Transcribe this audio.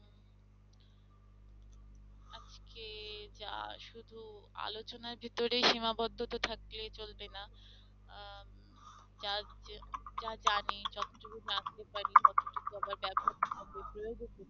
আজকে যা শুধু আলোচনার ভিতরেই সীমাবদ্ধ তো থাকলেই চলবে না আহ যার যে যা জানে পারি